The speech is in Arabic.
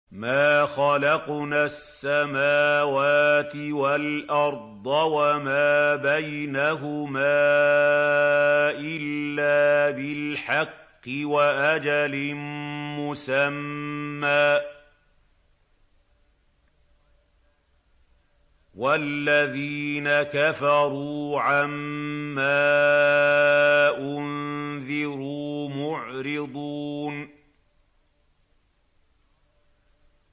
مَا خَلَقْنَا السَّمَاوَاتِ وَالْأَرْضَ وَمَا بَيْنَهُمَا إِلَّا بِالْحَقِّ وَأَجَلٍ مُّسَمًّى ۚ وَالَّذِينَ كَفَرُوا عَمَّا أُنذِرُوا مُعْرِضُونَ